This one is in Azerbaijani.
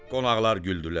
Qonaqlar güldülər.